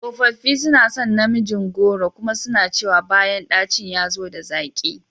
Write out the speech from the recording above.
Tsofaffi suna son namijin goro kuma suna cewa bayan dacin ya zo da zaƙi.